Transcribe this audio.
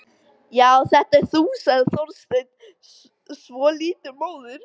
Já, þetta ert þú sagði Þorsteinn, svolítið móður.